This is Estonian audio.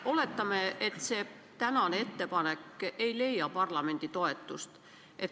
Oletame, et see tänane ettepanek ei leia parlamendi toetust.